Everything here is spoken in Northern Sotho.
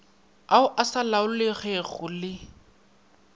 ao a sa laolegego le